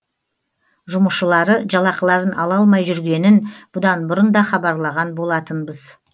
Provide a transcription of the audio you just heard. жұмысшылары жалақыларын ала алмай жүргенін бұдан бұрын да хабарлаған болатынбыз